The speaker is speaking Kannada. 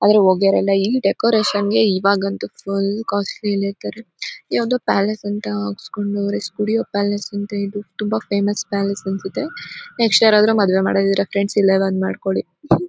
ಆದ್ರೆ ಹೋಗ್ಯರೆಲ್ಲ ಈ ಡೆಕರೇಶನ್ ಗೆ ಇವಾಗಂತೂ ಫುಲ್ ಕಾಸ್ಟ್ಲಿ ನೇತಾರೆ ಇದ್ಯಾವುದೋ ಪ್ಯಾಲೇಸ್ ಅಂತ ಹಾಕ್ಕೊಂಡವ್ರೆ ಸ್ಟುಡಿಯೋ ಪ್ಯಾಲೇಸ್ ಅಂತ ಹೇಳ್ಬಿಟ್ಟು. ತುಂಬಾ ಫೇಮಸ್ ಪ್ಯಾಲೇಸ್ ಅನ್ಸುತ್ತೆ. ನೆಕ್ಸ್ಟ್ ಯಾರಾದ್ರೂ ಫ್ರೆಂಡ್ಸ್ ಮದುವೆ ಮಾಡ್ಕೊಳೋದಿದ್ರೆ ಇಲ್ಲೇ ಬಂದು ಮಾಡ್ಕೊಳ್ಳಿ .]